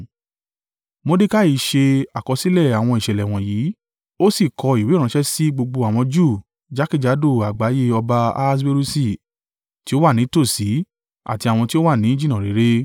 Mordekai ṣe àkọsílẹ̀ àwọn ìṣẹ̀lẹ̀ wọ̀nyí, ó sì kọ ìwé ránṣẹ́ sí gbogbo àwọn Júù jákèjádò àgbáyé ọba Ahaswerusi, tí ó wà ní tòsí àti àwọn tí ó wà ní jìnnà réré,